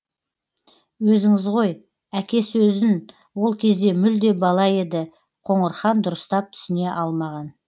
өзіңіз ғой әке сөзін ол кезде мүлде бала еді қоңырхан дұрыстап түсіне алмаған